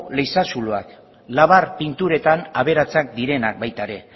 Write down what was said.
leize zuloak labar pinturetan aberatsak direnak baita ere